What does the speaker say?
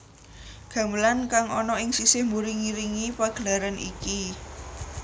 Gamelan kang ana ing sisih mburi ngiringi pagelaran iki